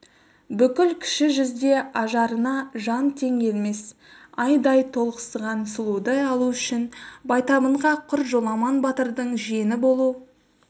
бүкіл кіші жүзде ажарына жан тең келмес айдай толықсыған сұлуды алу үшін байтабынға құр жоламан батырдың жиені болу